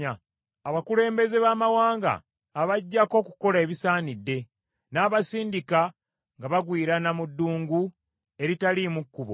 Abakulembeze baamawanga abaggyako okukola ebisaanidde; n’abasindika nga bagwirana mu ddungu eritaliimu kkubo.